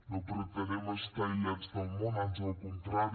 no pretenem estar aïllats del món ans al contrari